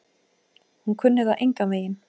Hún kunni það engan veginn.